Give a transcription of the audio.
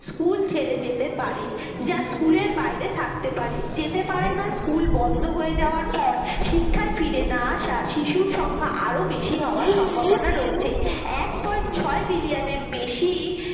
school ছেড়ে যেতে পারে যা school এর বাইরে থাকতে পারে যেতে পারেনা school বন্ধ হয়ে যাওয়ার পর শিক্ষায় ফিরে না আসা শিশুর সংখ্যা আরও বেশি হওয়ার সম্ভাবনা রয়েছে। এক point ছয় million এর বেশি